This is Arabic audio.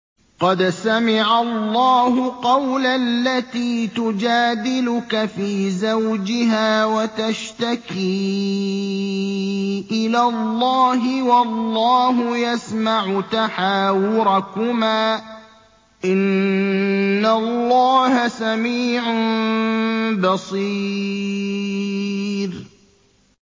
قَدْ سَمِعَ اللَّهُ قَوْلَ الَّتِي تُجَادِلُكَ فِي زَوْجِهَا وَتَشْتَكِي إِلَى اللَّهِ وَاللَّهُ يَسْمَعُ تَحَاوُرَكُمَا ۚ إِنَّ اللَّهَ سَمِيعٌ بَصِيرٌ